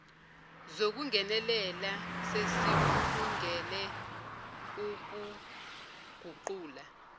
zokungenelela sesikulungele ukuguqula